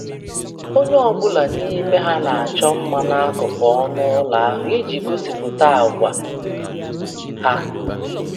Onye ọ bụla n'ime ha na-achọ mma n'akụkụ ọnụ ụlọ ahụ iji gosipụta àgwà ha.